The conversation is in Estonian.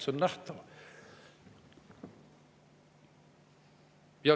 See on nähtav.